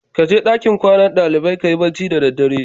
Kaje dankin kwana dalibai kayi bacci da daddare.